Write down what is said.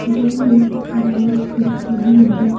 यह एक dance studio है।